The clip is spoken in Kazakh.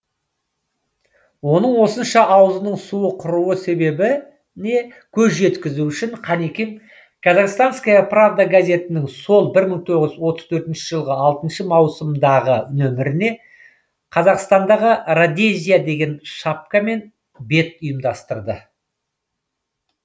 оның осынша аузының суы құруы себебіне көз жеткізу үшін қанекең казахстанская правда газетінің сол бір мың тоғыз жүз отыз төртінші жылғы алтыншы маусымдағы нөміріне қазақстандағы родезия деген шапкамен бет ұйымдастырды